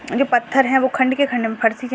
जो पत्थर है वो खंड के खंड में --